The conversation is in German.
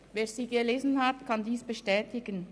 Wer sie gelesen hat, kann dies bestätigen.